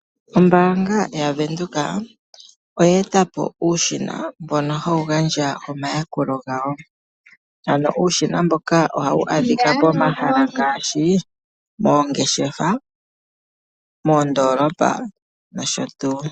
Ombanga yaVenduka oye eta po uushina mbono hawu gandja oomayakulo gawo. Ano uushina mboka oha wu adhika pomahala ngaashi moongeshefa, moondolopa noshotuu.